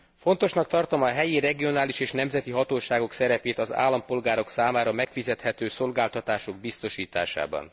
Fontosnak tartom a helyi, regionális és nemzeti hatóságok szerepét az állampolgárok számára megfizethető szolgáltatások biztosításában.